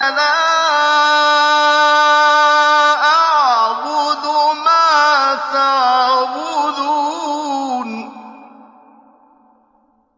لَا أَعْبُدُ مَا تَعْبُدُونَ